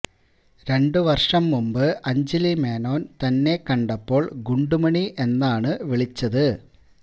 രണ്ടു വര്ഷം മുന്പ് അഞ്ജലി മേനോന് തന്നെ കണ്ടപ്പോള് ഗുണ്ടുമണി എന്നാണ് വിളിച്ചത്